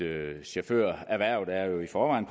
chaufførerhvervet i forvejen